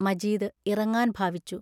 മജീദ് ഇറങ്ങാൻ ഭാവിച്ചു.